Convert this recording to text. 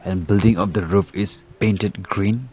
and building of the roof is painted green.